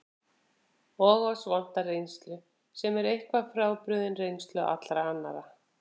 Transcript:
Og oss vantar reynslu, sem er eitthvað frábrugðin reynslu allra annarra.